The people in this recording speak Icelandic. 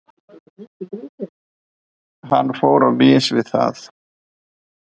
Hann fór á mis við það.